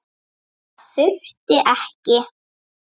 Það þurfti ekki.